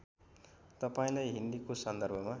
तपाईँलाई हिन्दीको सन्दर्भमा